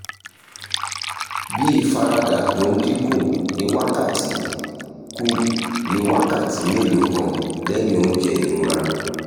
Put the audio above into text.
bí ìfaradà tó ń dín kù ní wákàtí kù ní wákàtí mélòó kan lẹ́yìn oúnjẹ ìrora